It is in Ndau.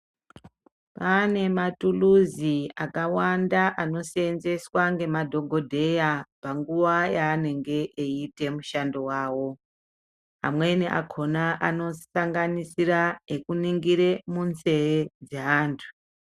Kwane matuluzi akawanda anosenzeswa ngemadhokodheya panguwa yanenge eiita mushando wawo. Amweni akhona anosanganisira ekuningire munzee dzeantu.